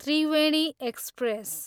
Triveni express